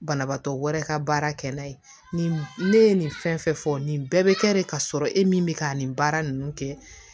Banabaatɔ wɛrɛ ka baara kɛ n'a ye ne ye nin fɛn fɛn fɔ nin bɛɛ bɛ kɛ de ka sɔrɔ e min bɛ ka nin baara ninnu kɛ